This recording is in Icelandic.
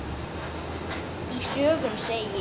Í sögunni segir: